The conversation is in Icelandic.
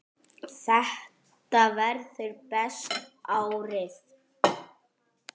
Þetta verður besta árið.